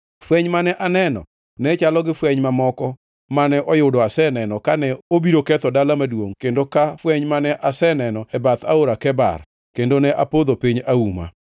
Fweny mane aneno ne chalo gi fweny mamoko mane oyudo aseneno kane obiro ketho dala maduongʼ kendo ka fweny mane aseneno e bath Aora Kebar, kendo ne apodho piny auma.